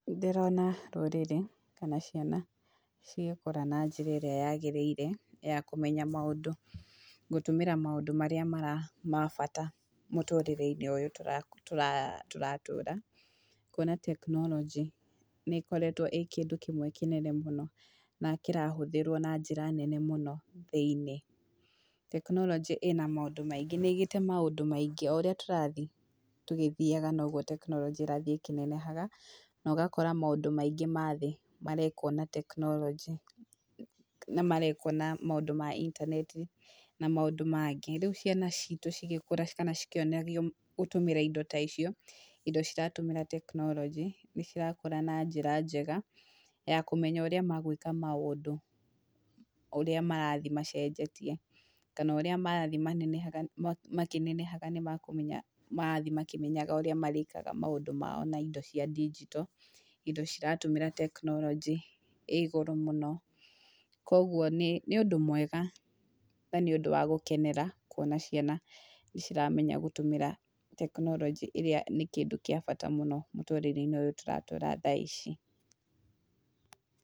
Ndĩrona rũrĩrĩ kana ciana cigĩkũra na njĩra ĩrĩa yagĩrĩire ya kũmenya maũndũ, gũtũmĩra maũndũ marĩa mara bata mũtũrĩre-inĩ ũyũ tũra tũratũra, kuona tekinoronjĩ nĩ ĩkoretwo ĩ kĩndũ kĩmwe kĩnene mũno na kĩrahũthĩrwo na njĩra nene mũno thĩinĩ. Tekinoronjĩ ĩna maũndũ maingĩ nĩĩgĩte maũndũ maingĩ oũrĩa tũrathiĩ tũgĩthiaga noguo tekinoronjĩ ĩrathiĩ ĩkĩnenehaga, na ũgakora maũndũ maingĩ mathĩ marekwo na tekinoronjĩ na marekwo na maũndũ ma intaneti na maũndũ mangĩ. Rĩu ciana citũ cigĩkũra kana cikĩonagio gũtũmĩra indo ta icio, indo ciratũmĩra tekinoronjĩ nĩ cirakũra na njĩra njega ya kũmenya ũrĩa magwĩka maũndũ ũrĩa marathiĩ macenjetie, kana ũrĩa marathiĩ manenehaga makĩnenehaga nĩ makũmenya marathiĩ makĩmenyaga ũrĩa marĩkaga maũndũ mao na indo cia ndinjito, indo ciratũmĩra tekinoronjĩ ĩ igũrũ mũno. Koguo nĩ nĩ ũndũ mwega na nĩ ũndũ wa gũkenera, kuona ciana nĩ ciramenya gũtũmĩra tekinoronjĩ ĩrĩa nĩ kĩndũ kĩa bata mũno mũtũrĩre-inĩ ũyũ tũratũũra thaa ici.